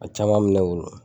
A caman mɛ ne bolo.